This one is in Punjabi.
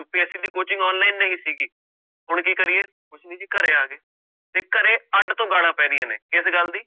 UPSC ਦੀ coaching online ਨਹੀਂ ਸੀਗੀ, ਹੁਣ ਕੀ ਕਰੀਏ ਕੁਛ ਨੀ ਜੀ ਘਰੇ ਆ ਗਏ ਤੇ ਘਰੇ ਅੱਢ ਤੋਂ ਗਾਲਾਂ ਪੈ ਰਹੀਆਂ ਨੇ ਇਸ ਗੱਲ ਦੀ